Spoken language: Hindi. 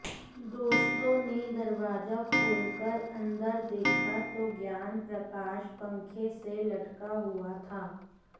दोस्तों ने दरवाजा खोलकर अंदर देखा तो ज्ञानप्रकाश पंखे से लटका हुआ था